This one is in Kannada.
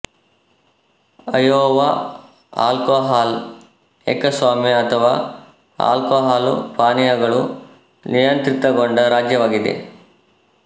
ಅಯೋವಾ ಆಲ್ಕೋಹಾಲ್ ಏಕಸ್ವಾಮ್ಯ ಅಥವಾ ಆಲ್ಕೋಹಾಲು ಪಾನೀಯಗಳು ನಿಯಂತ್ರಿತಗೊಂಡ ರಾಜ್ಯವಾಗಿದೆ